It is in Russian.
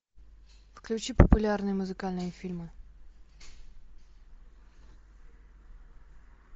включи популярные музыкальные фильмы